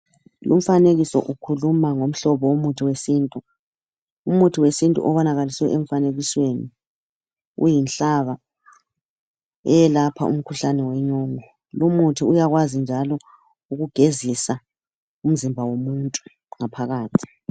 Lumfanekiso ukhuluma ngomhlobo womuthi wesintu. Umuthi wesintu obonakaliswe emfanekisweni uyinhlaka eyelapha umkhuhlane wenyongo. Lumuthi uyakwazi njalo ukugezisa umzimba womuntu ngaphakathi.